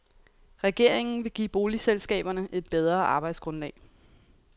Regeringen vil give boligselskaberne et bedre arbejdsgrundlag.